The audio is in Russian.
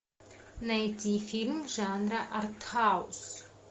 найти фильм жанра артхаус